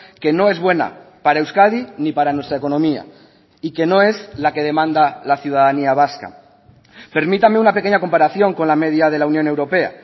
que no es buena para euskadi ni para nuestra economía y que no es la que demanda la ciudadanía vasca permítame una pequeña comparación con la media de la unión europea